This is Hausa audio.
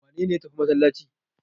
Wane ne ya tafi masallaci?